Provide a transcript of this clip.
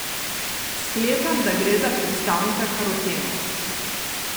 Sklepam, da gre za predstavnika karotenov.